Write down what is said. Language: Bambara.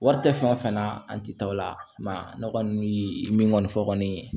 Wari tɛ fɛn fɛn na an tɛ taa o la ne kɔni bɛ min kɔni fɔ kɔni